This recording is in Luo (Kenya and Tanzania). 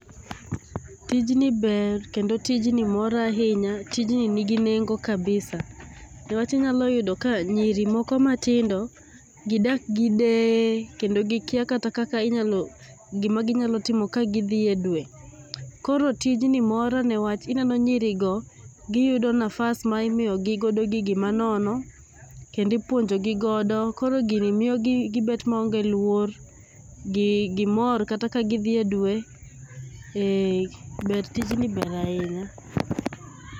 Tijni ber kendo tijni mora ahinya, tijni nigi nengo kabisa niwach inyalo yudo ka nyiri moko matindo gidak gi deye kendo gikia kata kaka gima ginyalo timo ka gidhie dwe . Koro tijni mora newach ineno nyiri go giyudo nafas ma imiyo gi go gigi ma nono kendo ipuonjo gi godo kor gigi miyogi gibet maonge luoro, gimor kata ka gidhie dwe ,eeh, tijni ber ahinya